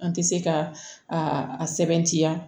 An tɛ se ka a sɛbɛntiya